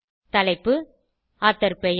தலைப்பு ஆத்தோர் பெயர்